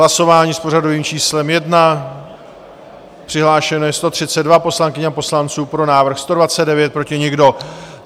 Hlasování s pořadovým číslem 1, přihlášeno je 132 poslankyň a poslanců, pro návrh 129, proti nikdo.